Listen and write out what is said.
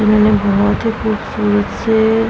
मैंने बोहोत ही खूबसूरत से --